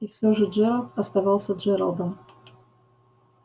и все же джералд оставался джералдом